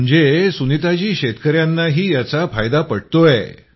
म्हणजे शेतकऱ्यांनाही याचा फायदा पटतोय